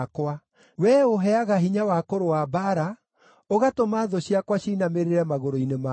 Wee ũũheaga hinya wa kũrũa mbaara, ũgatũma thũ ciakwa ciinamĩrĩre magũrũ-inĩ makwa.